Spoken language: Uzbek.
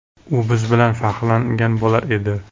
U biz bilan faxrlangan bo‘lar edi.